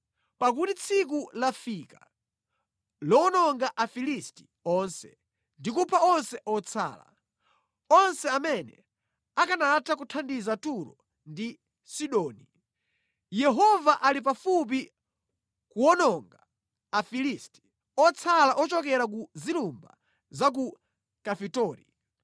Pakuti tsiku lafika lowononga Afilisti onse ndi kupha onse otsala, onse amene akanatha kuthandiza Turo ndi Sidoni. Yehova ali pafupi kuwononga Afilisti, otsala ochokera ku zilumba za ku Kafitori.